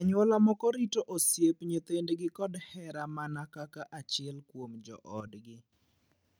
Anyuola moko rito osiepe nyithindgi kod hera mana kaka achiel kuom joodgi.